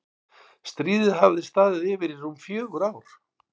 Stríðið hafði staðið yfir í rúm fjögur ár.